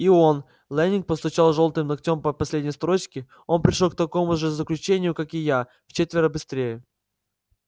и он лэннинг постучал жёлтым ногтем по последней строчке он пришёл к такому же заключению как и я вчетверо быстрее